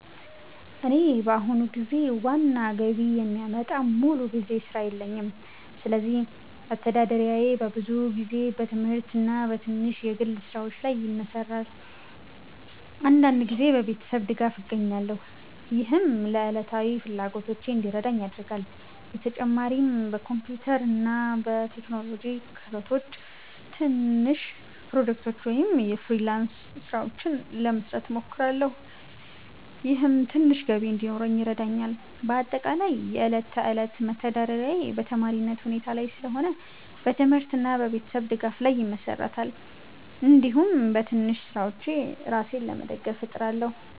እኔ በአሁኑ ጊዜ ዋና ገቢ የሚያመጣ ሙሉ ጊዜ ሥራ የለኝም፣ ስለዚህ መተዳደሪያዬ በብዙ ጊዜ በትምህርት እና በትንሽ የግል ስራዎች ላይ ይመሠራል። አንዳንድ ጊዜ በቤተሰብ ድጋፍ እገኛለሁ፣ ይህም ለዕለታዊ ፍላጎቶቼ እንዲረዳኝ ያደርጋል። በተጨማሪም በኮምፒውተር እና በቴክኖሎጂ ክህሎቶቼ ትንሽ ፕሮጀክቶች ወይም የፍሪላንስ ስራዎች ለመስራት እሞክራለሁ፣ ይህም ትንሽ ገቢ እንዲኖረኝ ይረዳኛል። በአጠቃላይ የዕለት ተዕለት መተዳደሪያዬ በተማሪነት ሁኔታ ላይ ስለሆነ በትምህርት እና በቤተሰብ ድጋፍ ላይ ይመሠራል፣ እንዲሁም በትንሽ ስራዎች ራሴን ለመደገፍ እጥራለሁ።